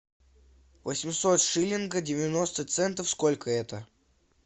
восемьсот шиллинга девяносто центов сколько это